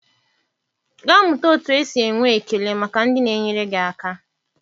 Gaa mụta otu esi enwe ekele maka ndị na-enyere gị aka.